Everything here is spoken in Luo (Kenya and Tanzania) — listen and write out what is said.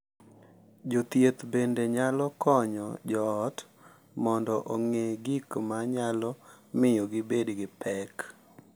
Jothieth bende nyalo konyo joot mondo ong’e gik ma nyalo miyo gibed gi pek